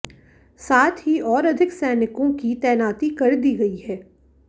साथ ही और अधिक सैनिकों की तैनाती कर दी गई है